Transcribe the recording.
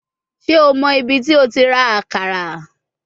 Ṣe o mọ ibiti o ti ra akara?